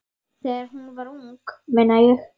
Þegar hún var ung, meina ég.